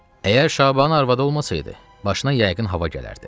Əgər Şabanın arvadı olmasaydı, başına yəqin hava gələrdi.